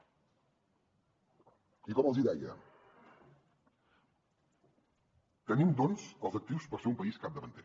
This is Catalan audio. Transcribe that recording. i com els deia tenim doncs els actius per ser un país capdavanter